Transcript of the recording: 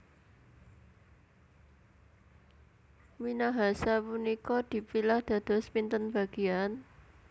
Minahasa punika dipilah dados pinten bagian?